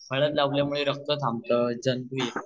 हळद लावल्यामुळे रक्त थाम्बते जंतू